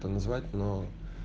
то назвать но